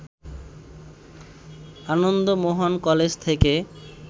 Ananda Mohan college থেকে